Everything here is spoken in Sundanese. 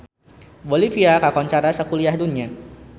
Bolivia kakoncara sakuliah dunya